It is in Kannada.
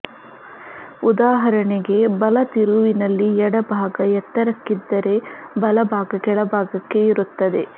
ಉದಾಹರಣೆಗೆ ಬಲ ತಿರುವಿನಲ್ಲಿ ಎಡ ಭಾಗ ಎತ್ತರಕ್ಕಿದ್ದರೆ ಬಲ ಭಾಗ ಕೆಳಭಾಗಕ್ಕೆ ಇರುತ್ತದೆ